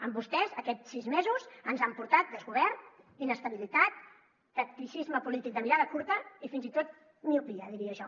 amb vostès aquest sis mesos ens han portat desgovern inestabilitat tacticisme polític de mirada curta i fins i tot miopia diria jo